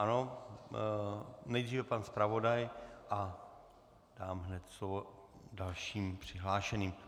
Ano, nejdříve pan zpravodaj a dám hned slovo dalším přihlášeným.